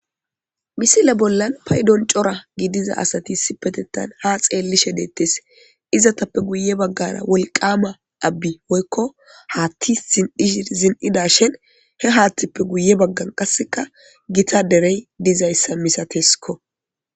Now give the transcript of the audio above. Misile bollan paydon cora gidiza asati sipetetan ha xeellishe deettes izatappe guye baggara wolqama abbi woykko haatti zin'ih zin'ida shen he haattippe guye baggan qasseka gita derey dizayssa misateskko